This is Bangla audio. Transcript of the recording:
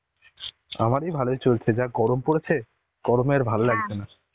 আমারি ভালো চলছে. যা গরম পরেছে, গরমে আর ভালো লাগছে না.